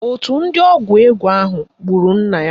Òtù ndị ọgwụ ego ahụ gburu nna ya